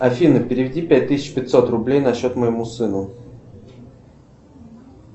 афина переведи пять тысяч пятьсот рублей на счет моему сыну